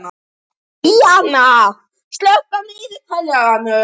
Marín, slökktu á niðurteljaranum.